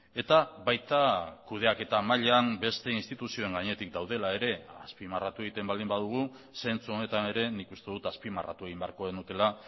eta baita kudeaketa mailan beste instituzioen gainetik daudela ere azpimarratu egiten baldin badugu zentzu honetan ere nik uste dut azpimarratu egin beharko genukeela